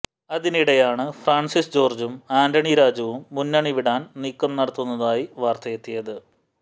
അതിനിടെയാണ് ഫ്രാൻസിസ് ജോർജും ആന്റണിരാജുവും മുന്നണി വിടാൻ നീക്കം നടത്തുന്നതായി വാർത്തെയത്തിയത്